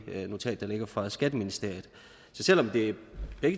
notat der ligger fra skatteministeriet så selv om begge